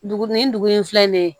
Dugu ni dugu in filɛ nin ye